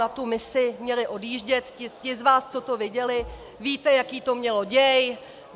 Na tu misi měli odjíždět - ti z vás, co to viděli, víte, jaký to mělo děj.